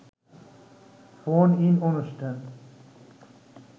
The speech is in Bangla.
ফোন-ইন অনুষ্ঠান